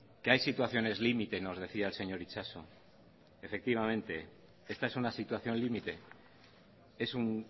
que hay situaciones limites nos decía el señor itxaso efectivamente esta es una situación límite es un